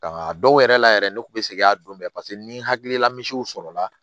Nka a dɔw yɛrɛ la yɛrɛ ne kun be segin a don bɛɛ paseke ni hakilila misiw sɔrɔla